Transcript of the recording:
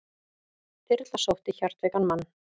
Þyrla sótti hjartveikan mann